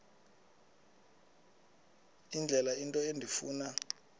indlela into endifuna